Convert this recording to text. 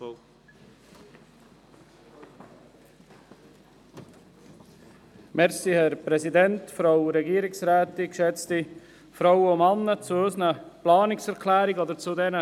Zuerst gebe ich das Wort dem Urheber der Planungserklärung 6, Grossrat Knutti.